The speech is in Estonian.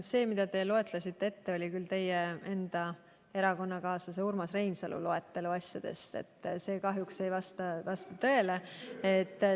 See loetelu, mille te ette lugesite, oli teie enda erakonnakaaslase Urmas Reinsalu loetelu, mis kahjuks ei vasta tõele.